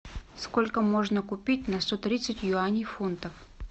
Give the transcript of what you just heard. сколько можно купить на сто тридцать юаней фунтов